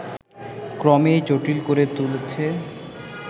ক্রমেই জটিল করে তুলছে